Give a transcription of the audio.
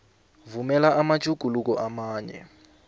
vumela amatjhuguluko amanye